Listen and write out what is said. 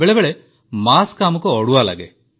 ବେଳେବେଳେ ମାସ୍କ ଆମକୁ ଅଡୁଆ ଲାଗେ